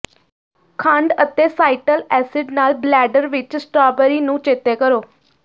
ਖੰਡ ਅਤੇ ਸਾਈਟਲ ਐਸਿਡ ਨਾਲ ਬਲੈਡਰ ਵਿਚ ਸਟ੍ਰਾਬੇਰੀ ਨੂੰ ਚੇਤੇ ਕਰੋ